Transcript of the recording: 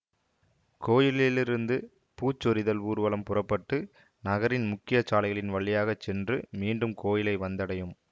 கோயிலிலிருந்து பூச்சொரிதல் ஊர்வலம் புறப்பட்டு நகரின் முக்கியச் சாலைகளின் வழியாக சென்று மீண்டும் கோயிலை வந்தடையும்